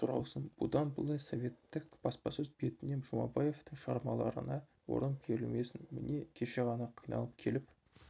сұралсын бұдан былай советтік баспасөз бетінен жұмабаевтың шығармаларына орын берілмесін міне кеше ғана қиналып келіп